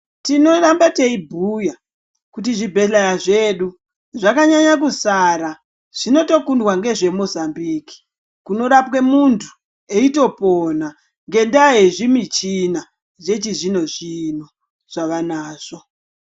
Tinorambe teibhuya kuti zvibhedhleya zvedu zvakanyanya kusara zvinotokundwa ngezve Mozambique kunorapwe muntu eitopona ngendaya yezvimichina yechizvino zvino zvavanazvo.